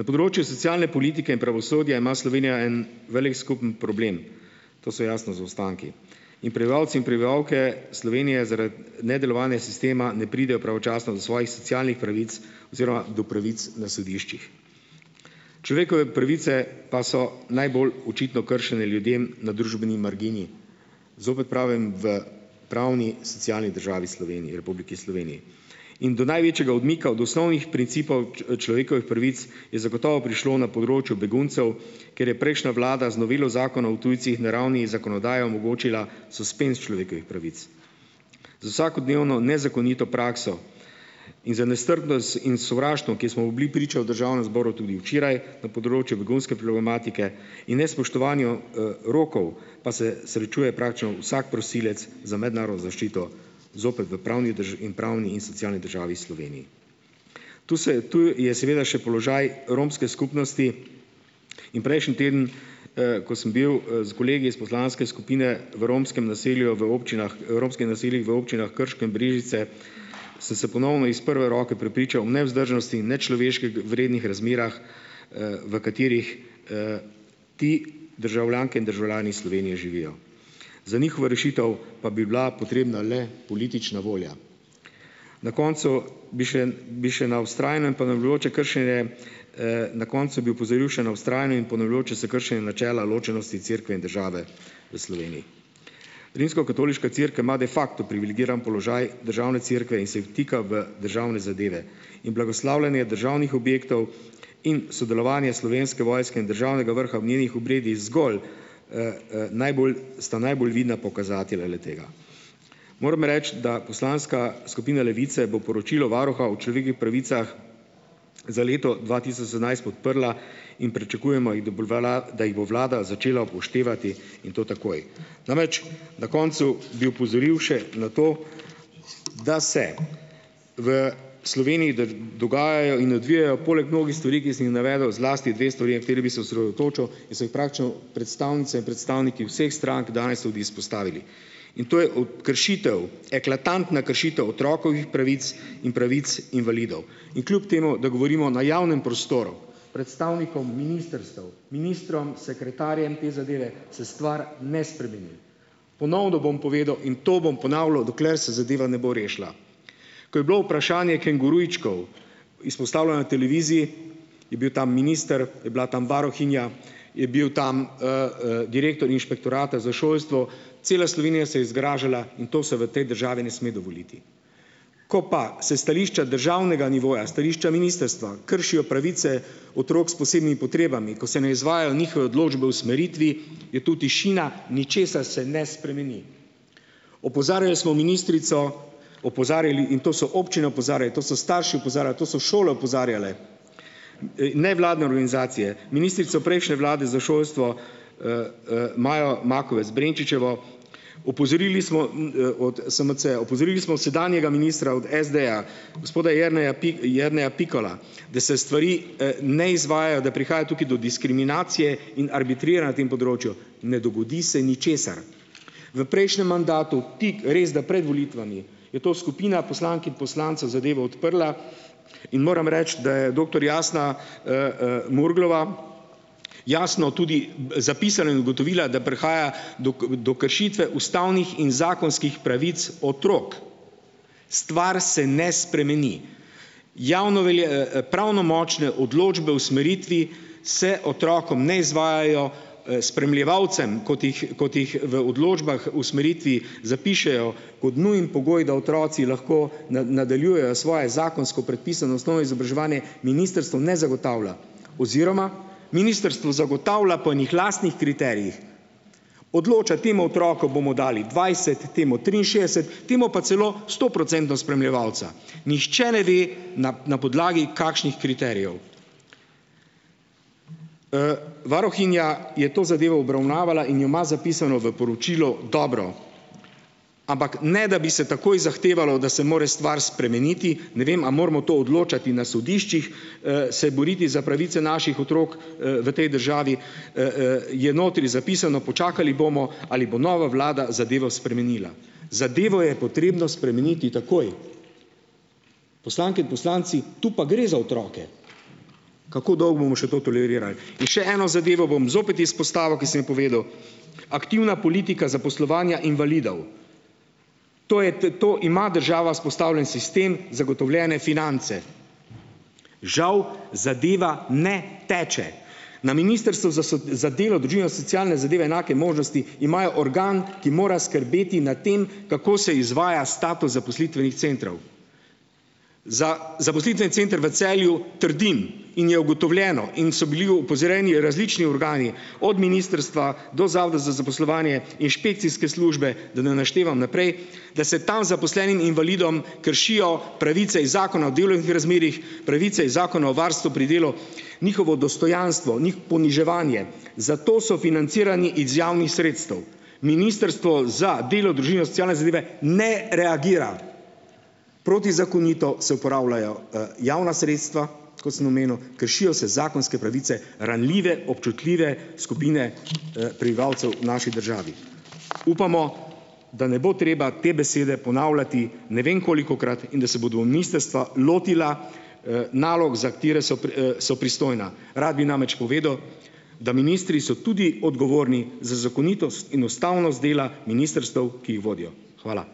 Na področju socialne politike in pravosodja ima Slovenija en velik skupen problem. To so jasno zaostanki in prebivalci in prebivalke Slovenije zaradi nedelovanja sistema ne pridejo pravočasno do svojih socialnih pravic oziroma do pravic na sodiščih. Človekove pravice pa so najbolj očitno kršene ljudem na družbeni margini. Zopet pravem, v pravni socialni državi Sloveniji, Republiki Sloveniji, in do največjega odmika od osnovnih principov ki človekovih pravic, je zagotovo prišlo na področju beguncev, kjer je prejšnja vlada z novelo zakona o tujcih, na ravni zakonodaje omogočila suspenz človekovih pravic. Z vsakodnevno nezakonito prakso in za nestrpnost in sovraštvo, ki smo mu bili priča v Državnem zboru tudi včeraj, na področju begunske problematike in nespoštovanju rokov, pa se srečuje praktično vsak prosilec za mednarodno zaščito zopet v pravni drži in pravni in socialni državi, Sloveniji. Tu se tu je seveda še položaj romske skupnosti in prejšnji teden, ko sem bil s kolegi iz poslanske skupine v romskem naselju, v občinah, v romskih naseljih, v občinah Krško in Brežice, sem se ponovno iz prve roke prepričal o nevzdržnosti in vrednih razmerah, v katerih ti državljanke in državljani Slovenije živijo. Za njihovo rešitev pa bi bila potrebna le politična volja. Na koncu bi šen bi še na vztrajne in ponavljajoče kršenje na koncu bi opozoril še na vztrajno in ponavljajoče se kršenje načela ločenosti Cerkve in države v Sloveniji. Rimskokatoliška cerkev ima "de facto" privilegiran položaj državne cerkve in se vtika v državne zadeve in blagoslavljanje državnih objektov in sodelovanje Slovenske vojske in državnega vrha v njenih obredih zgolj, #eee#eee najbolj sta najbolj vidna pokazatelja le-tega. Moram reči, da poslanska skupina Levice bo poročilo Varuha o človekovih pravicah za leto dva tisoč sedemnajst podprla in pričakujemo, jih da bolvelal da jih bo vlada začela upoštevati in to takoj. Namreč na koncu bi opozoril še na to, da se v v Sloveniji dogajajo in odvijajo, poleg mnogih stvari, ki sem jih navedel, zlasti dve stvari, na kateri bi se osredotočil in so jih praktično predstavnice in predstavniki vseh strank danes tudi izpostavili. In to je od kršitev, eklatantna kršitev otrokovih pravic in pravic invalidov. In kljub temu, da govorimo na javnem prostoru, predstavnikom ministrstev, ministrom, sekretarjem te zadeve, se stvar ne spremeni. Ponovno bom povedal in to bom ponavljal, dokler se zadeva ne bo rešila. Ko je bilo vprašanje "kengurujčkov" izpostavljeno na televiziji, je bil tam minister, je bila tam varuhinja, je bil tam direktor Inšpektorata za šolstvo. Cela Slovenija se je zgražala in to se v tej državi ne sme dovoliti. Ko pa se stališča državnega nivoja, stališča ministrstva kršijo pravice otrok s posebnimi potrebami, ko se ne izvajajo njihove odločbe o usmeritvi, je tu tišina, ničesar se ne spremeni. Opozarjali smo ministrico, opozarjali in to so občine opozarja, to so starši opozarja, to so šole opozarjale, nevladne organizacije, ministrico prejšnje vlade za šolstvo, Majo Makovec Brenčičevo. Opozorili smo od SMC-ja, opozorili smo sedanjega ministra od SD-ja, gospoda Jerneja Jerneja Pikala, da se stvari izvajajo, da prihaja tukaj do diskriminacije in arbitriranj na tem področju. Ne dogodi se ničesar. V prejšnjem mandatu, tik, resda, pred volitvami, je to skupina poslank in poslancev zadevo odprla in moram reči, da je doktor Jasna #eee#eee Murglova jasno tudi zapisala in ugotovila, da prihaja dok do kršitve ustavnih in zakonskih pravic otrok. Stvar se ne spremeni. Javno pravno močne odločbe o usmeritvi se otrokom ne izvajajo. Spremljevalcem, kot jih kot jih v odločbah o usmeritvi zapišejo kot nujen pogoj, da otroci lahko na nadaljujejo svoje zakonsko predpisano osnovno izobraževanje, ministrstvo ne zagotavlja oziroma ministrstvo zagotavlja po enih lastnih kriterijih. Odloča temu otroku bomo dali dvajset, temu triinšestdeset, temu pa celo sto procentov spremljevalca. Nihče ne ve, na na podlagi kakšnih kriterijev. Varuhinja je to zadevo obravnavala in jo ima zapisano v poročilu dobro, ampak ne da bi se takoj zahtevalo, da se mora stvar spremeniti. Ne vem, a moramo to odločati na sodiščih, se boriti za pravice naših otrok v tej državi, je notri zapisano, počakali bomo, ali bo nova vlada zadevo spremenila. Zadevo je potrebno spremeniti takoj. Poslanke in poslanci, tu pa gre za otroke. Kako dolgo bomo še to toleriral? In še eno zadevo bom zopet izpostavil, ki sem jo povedal, aktivna politika zaposlovanja invalidov. To je t to ima država vzpostavljen sistem, zagotovljene finance. Žal zadeva ne teče. Na Ministrstvu za so za delo, družino, socialne zadeve enake možnosti imajo organ, ki mora skrbeti na tem, kako se izvaja status zaposlitvenih centrov. Za zaposlitveni center v Celju trdim, in je ugotovljeno in so bili opozorjeni različni organi, od ministrstva do zavoda za zaposlovanje, inšpekcijske službe, da n naštevam naprej, da se tam zaposlenim invalidom kršijo pravice iz Zakona o delovnih razmerjih, pravice iz Zakona o varstvu pri delu, njihovo dostojanstvo, njih poniževanje, zato so financirani iz javnih sredstev. Ministrstvo za delo, družino in socialne zadeve ne reagira. Protizakonito se upravljajo javna sredstva, kot sem omenil, kršijo se zakonske pravice ranljive, občutljive skupine prebivalcev v naši državi. Upamo, da ne bo treba te besede ponavljati ne vem kolikokrat in da se bodo ministrstva lotila nalog, za katere so pri so pristojna. Rad bi namreč povedal, da ministri so tudi odgovorni za zakonitost in ustavnost dela ministrstev, ki jih vodijo. Hvala.